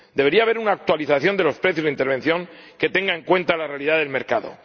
Debería haber una actualización de los precios de intervención que tenga en cuenta la realidad del mercado.